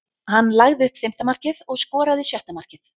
Hann lagði upp fimmta markið og skoraði sjötta markið.